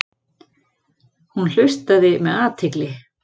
Hún hlustaði með athygli.